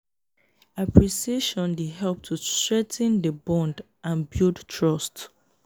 appreciatioin dey help to strengthen di bond and build trust.